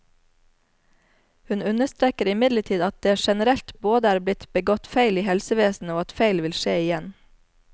Hun understreker imidlertid at det generelt både er blitt begått feil i helsevesenet, og at feil vil skje igjen.